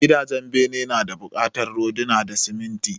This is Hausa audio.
Gidajen bene nada bukatar rodina da siminti